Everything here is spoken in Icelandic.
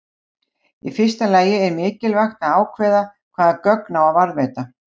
Í fyrsta lagi er mikilvægt að ákveða hvaða gögn á að varðveita.